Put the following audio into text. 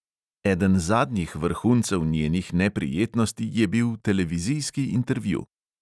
Eden zadnjih vrhuncev njenih neprijetnosti je bil televizijski intervju.